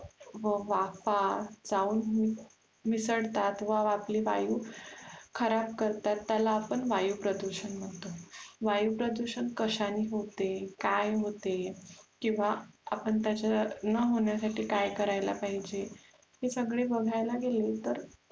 खराब करतात त्याला आपण वायु प्रदुषण म्हणतो, वायु पदुषण कश्याने होते, काय होते किंवा आपण त्याचा न होण्यासाठी काय करायला पाहिजे हे सगळे बघायला गेलं तर खुप